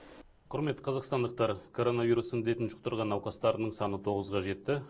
құрметті қазақстандықтар коронавирус індетін жұқтырған науқастардың саны тоғызға жетті